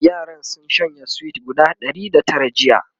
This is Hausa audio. yaran sun shanye sweet guda Ɗari da Tara jiya